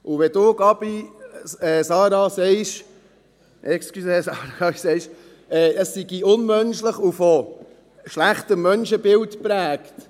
Wenn Sie, Sarah Gabi, sagen, es sei unmenschlich und von einem schlechten Menschenbild geprägt: